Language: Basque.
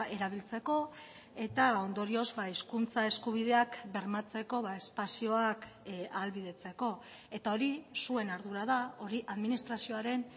erabiltzeko eta ondorioz hizkuntza eskubideak bermatzeko espazioak ahalbidetzeko eta hori zuen ardura da hori administrazioaren